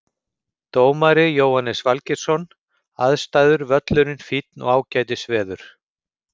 Dómari Jóhannes Valgeirsson Aðstæður Völlurinn fínn og ágætis veður.